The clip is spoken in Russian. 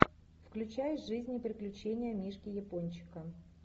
включай жизнь и приключения мишки япончика